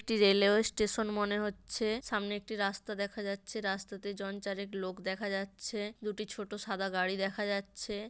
একটি railway station মনে হচ্ছে। সামনে একটি রাস্তা দেখা যাচ্ছে। রাস্তাতে জন চারেক লোক দেখা যাচ্ছে। দুটি ছোট সাদা গাড়ি দেখা যাচ্ছে।